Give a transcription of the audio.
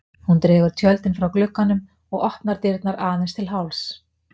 Hún dregur tjöldin frá glugganum og opnar dyrnar aðeins til hálfs.